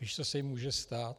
Víš, co se jí může stát?